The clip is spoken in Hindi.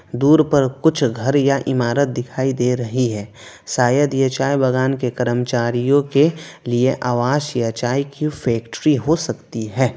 दूर पर कुछ घर या इमारत दिखाई दे रही है शायद यह चाय बागान के कर्मचारियों के लिए आवास या चाय की फैक्ट्री हो सकती है।